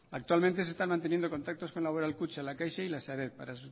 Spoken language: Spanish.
actualmente se están manteniendo contactos con laboral kutxa la caixa y la sareb para